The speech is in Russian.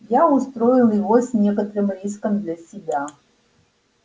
я устроил его с некоторым риском для себя